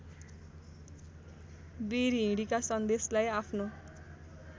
विरहिणीका सन्देशलाई आफ्नो